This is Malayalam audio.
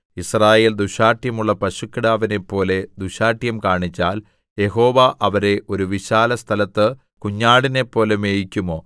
യിസ്രായേൽ ദുശ്ശാഠ്യമുള്ള പശുക്കിടാവിനെപ്പോലെ ദുശ്ശാഠ്യം കാണിച്ചാൽ യഹോവ അവരെ ഒരു വിശാലസ്ഥലത്ത് കുഞ്ഞാടിനെപ്പോലെ മേയിക്കുമോ